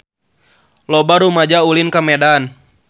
Loba rumaja ulin ka Medan